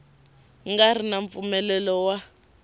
nga ri na mpfumelelo wa